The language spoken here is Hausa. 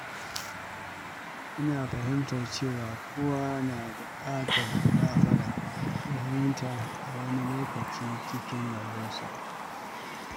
Ina fahimtar cewa kowa na buƙatar gafara da fahimta a wani lokaci cikin rayuwarsa.